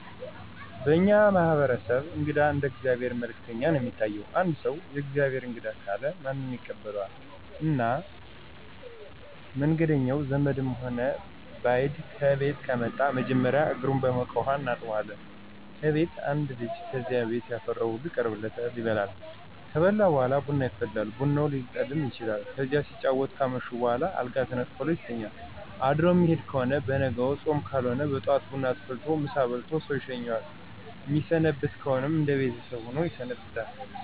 በእኛ ማህበረሰብ እንግዳ እንደ የእግዚአብሔር መልእክተኛ ነው የሚታይ። አንድ ሰው። “ የእግዚአብሔር እንግዳ“ ካለ ማንም ይቀበለዋል እና መንኛውም ዘመድም ሆነ በይድ ከቤት ከመጣ መጀመሪያ እግሩን በሞቀ ውሀ እናጥበዋለን ከቤት አንድ ልጅ ከዚያ ቤት ያፈራው ሁሉ ይቀርብለታል ይበላል። ከበላ በኋላ ቡና ይፈላል ቡናውም ሊቀድም ይችላል። ከዚያ ሲጫወቱ ካመሹ በኋላ አልጋ ተነጥፎለት ይተኛል አድሮ ሚሄድ ከሆነ በነጋው ጾም ካልሆነ በጠዋት ቡና ተፈልቶለት ምሳ በልቶ ሰው ይሸኘዋል። ሚሰነብት ከሆነ እነደ ቤተሰብ ሆኖ ይሰነብታል።